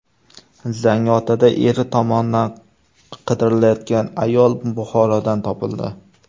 Zangiotada eri tomonidan qidirilayotgan ayol Buxorodan topildi.